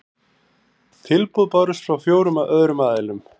Tilboð bárust frá fjórum öðrum aðilum